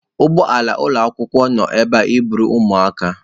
Ụgbọ ala ụlọ akwụkwọ nọ ebe a iburu ụmụaka.